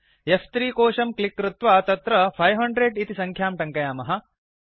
फ्3 कोशं क्लिक् कृत्वा तत्र 500 इति संख्यां टङ्कयामः